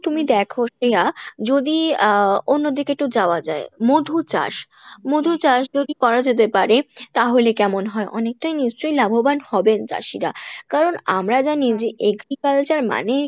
তুমি দেখ শ্রেয়া যদি আহ অন্যদিকে একটু যাওয়া যায়, মধু চাষ, মধু চাষ যদি করা যেতে পারে তাহলে কেমন হয় অনেকটাই নিশ্চয় লাভবান হবেন চাষীরা কারন আমরা জানি যে agriculture মানেই